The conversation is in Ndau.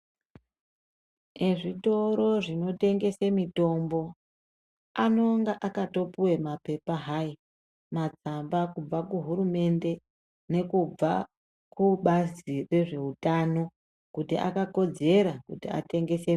Ezvitoro zvino tengese mitombo anonga akato puwa mapepa hai magwamba kubva ku hurumende nekubva kubazi rezve utano kuti aka kodzera kuti atengese.